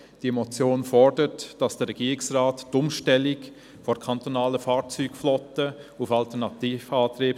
Die Motion fordert vom Regierungsrat die Beschleunigung der Umstellung der kantonalen Fahrzeugflotte auf Alternativantriebe.